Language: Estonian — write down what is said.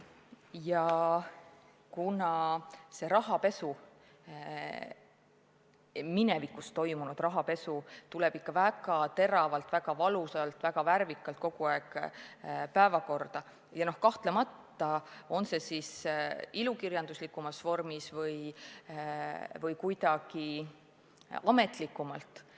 Paraku on nii, et minevikus toimunud rahapesu tõuseb ikka veel väga teravalt, väga valusalt, väga värvikalt päevakorrale, on see siis ilukirjanduslikumas vormis või kuidagi ametlikumalt.